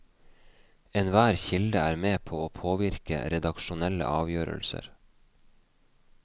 Enhver kilde er med på å påvirke redaksjonelle avgjørelser.